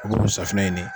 U b'olu safinɛ ɲini